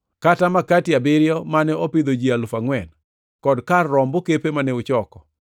Kata makati abiriyo mane opidho ji alufu angʼwen, kod kar romb okepe mane uchoko?